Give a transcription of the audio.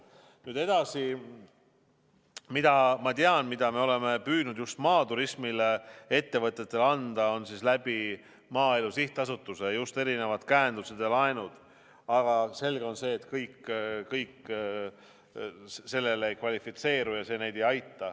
Nüüd edasi, mida me oleme püüdnud just maaturismi ettevõtjatele anda, on erinevad käendused ja laenud Maaelu Sihtasutuse kaudu, aga selge on see, et kõik sellele ei kvalifitseeru ja see neid ei aita.